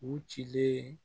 U cilen